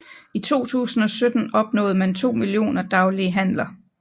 I 2017 opnåede man to millioner daglige handler